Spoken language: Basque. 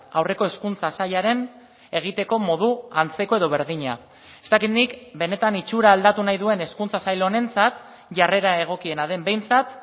aurreko hezkuntza sailaren egiteko modu antzeko edo berdina ez dakit nik benetan itxura aldatu nahi duen hezkuntza sail honentzat jarrera egokiena den behintzat